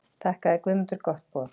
Þakkaði Guðmundur gott boð.